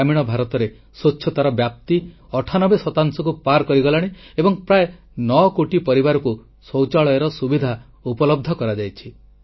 ଗ୍ରାମୀଣ ଭାରତରେ ସ୍ୱଚ୍ଛତାର ବ୍ୟାପ୍ତି ଅଠାନବେ ଶତାଂଶକୁ ପାର କରିଗଲାଣି ଏବଂ ପ୍ରାୟ 9 କୋଟି ପରିବାରକୁ ଶୌଚାଳୟର ସୁବିଧା ଉପଲବ୍ଧ କରାଯାଇଛି